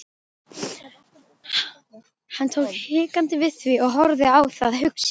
Hann tók hikandi við því og horfði á það hugsi.